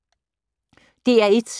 DR1